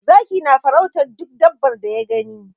Zaki na farautar duk dabbar da ya gani.